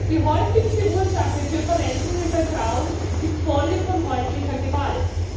Die häufigste Ursache für Verletzungen bei Frauen ist häusliche Gewalt.